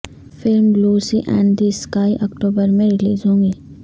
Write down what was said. film Lucy in the sky October میں ریلیز ہو گی